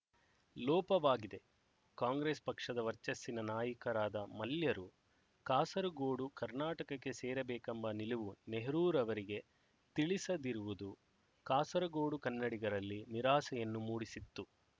ಲೋಪವಾಗಿದೆ ಕಾಂಗ್ರೆಸ್ ಪಕ್ಷದ ವರ್ಚಸ್ಸಿನ ನಾಯಕರಾದ ಮಲ್ಯರು ಕಾಸರಗೋಡು ಕರ್ನಾಟಕಕ್ಕೆ ಸೇರಬೇಕೆಂಬ ನಿಲುವು ನೆಹರೂರವರಿಗೆ ತಿಳಿಸದಿರುವುದು ಕಾಸರಗೋಡು ಕನ್ನಡಿಗರಲ್ಲಿ ನಿರಾಸೆಯನ್ನು ಮೂಡಿಸಿತ್ತು